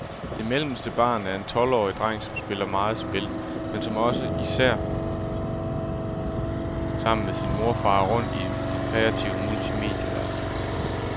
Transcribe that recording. Det mellemste barn er en tolvårig dreng, som spiller meget spil, men som også især, sammen med mor, farer rundt i den kreative multimedieverden.